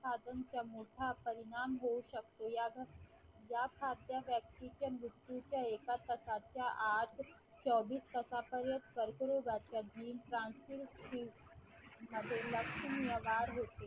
साधनचा मोठा परिणाम होऊ शकतो या साध्या व्यक्तीच्या मृत्यूचा एका तासाच्या आत चोवीस तासापर्यंत कर्करोगाचे जी मध्ये लक्षण व्यवहार होते.